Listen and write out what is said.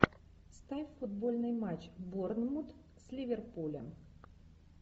ставь футбольный матч борнмут с ливерпулем